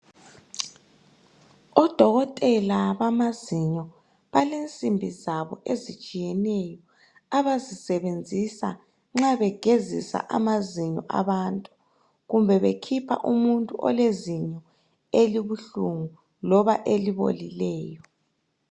Odokotela bamazinyo balensimbi zabo ezitshiyeneyo abazisebenzisa nxa begezisa amazinyo abantu kumbe bekhipha umuntu olezinyo elibuhlungu loba elibolileyo.